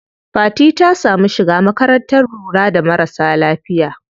Fati ta samu shiga makarantar lura da marasa lafiya.